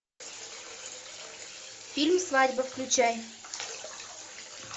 фильм свадьба включай